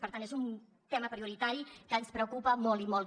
per tant és un tema prioritari que ens preocupa molt i molt